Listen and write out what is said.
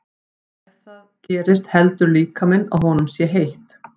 Ef það gerist heldur líkaminn að honum sé heitt.